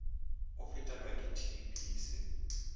o fetelwa ke tb se